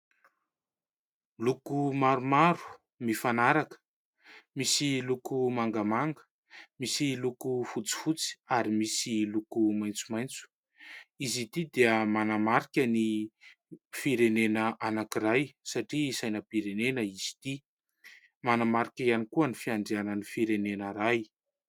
Loko maromaro mifanaraka. Misy loko mangamanga misy loko fotsifotsy, ary misy loko maitsomaitso. Izy ity dia manamarika ny firenena anankiray satria sainam-pirenena izy ity. Manamarika ihany koa ny fiandrianan'ny firenena iray.